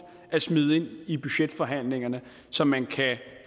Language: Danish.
at smide ind i budgetforhandlingerne så man kan